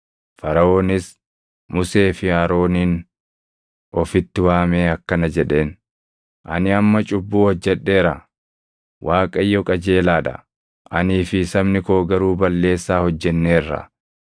Faraʼoonis Musee fi Aroonin ofitti waamee akkana jedheen; “Ani amma cubbuu hojjedheera; Waaqayyo qajeelaa dha; anii fi sabni koo garuu balleessaa hojjenneerra.